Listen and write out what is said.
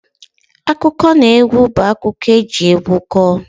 Akụkọnaegwu bụ akụkọ eji egwu kọọ